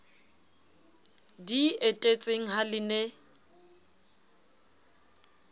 di etetseng ha le ne